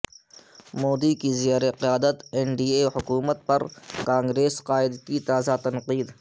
مودی کی زیر قیادت این ڈی اے حکومت پرکانگریس قائد کی تازہ تنقید